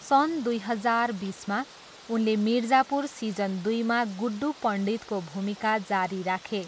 सन् दुई हजार बिसमा, उनले मिर्जापुर सिजन दुईमा गुड्डू पण्डितको भूमिका जारी राखे।